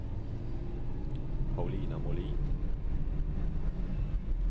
Paulina Molin